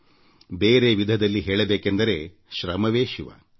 ಮತ್ತೊಂದು ರೀತಿ ಹೇಳಬೇಕೆಂದರೆ ಶ್ರಮವೇ ಶಿವ